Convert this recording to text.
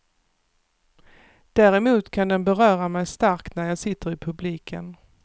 Däremot kan den beröra mig starkt när jag sitter i publiken.